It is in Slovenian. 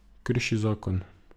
Krši zakon.